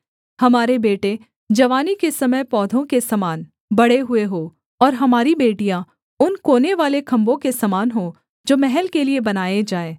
हमारे बेटे जवानी के समय पौधों के समान बढ़े हुए हों और हमारी बेटियाँ उन कोनेवाले खम्भों के समान हों जो महल के लिये बनाए जाएँ